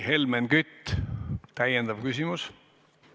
Helmen Kütt, täiendav küsimus!